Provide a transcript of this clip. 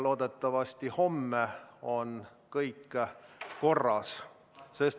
Loodetavasti homme on kõik korras.